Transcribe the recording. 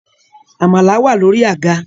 Amala wà lórí àga